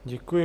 Děkuji.